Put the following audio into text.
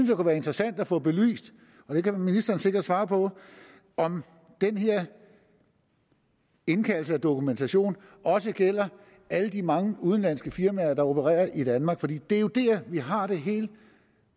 det kunne være interessant at få belyst det kan ministeren sikkert svare på om den her indkaldelse af dokumentation også gælder alle de mange udenlandske firmaer der opererer i danmark for det er jo der vi har det helt